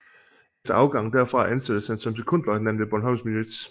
Efter afgangen derfra ansattes han som sekondløjtnant ved Bornholms Milits